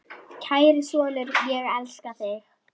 Kæri sonur, ég elska þig.